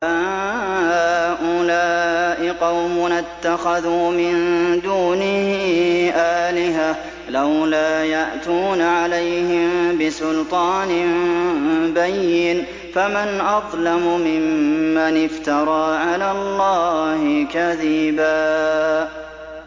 هَٰؤُلَاءِ قَوْمُنَا اتَّخَذُوا مِن دُونِهِ آلِهَةً ۖ لَّوْلَا يَأْتُونَ عَلَيْهِم بِسُلْطَانٍ بَيِّنٍ ۖ فَمَنْ أَظْلَمُ مِمَّنِ افْتَرَىٰ عَلَى اللَّهِ كَذِبًا